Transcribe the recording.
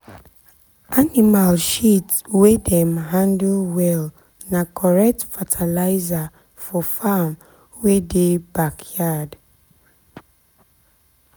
animal shit wey dem handle well na correct fertilizer for farm wey dey backyard